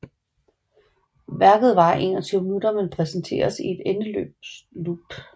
Værket varer 21 minutter men præsenteres i et endeløst loop